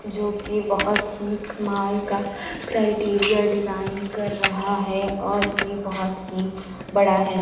जो कि बहोत ही कमाल का क्राइटेरिया डिजाइन कर रहा है और ये बहोत ही बड़ा है।